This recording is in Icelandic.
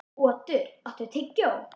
Otur, áttu tyggjó?